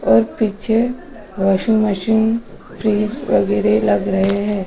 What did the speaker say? और पीछे washing machine fridge वगैरह लग रहे हैं।